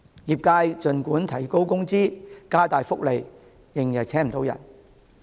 儘管業界提高工資、加大福利，仍然聘請不到員工。